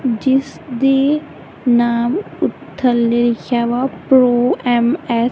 ਜਿਸ ਦੀ ਨਾਮ ਊ ਥੱਲੇ ਲਿਖਿਆ ਆ ਪਰੋ ਐਮ ਐੱਸ --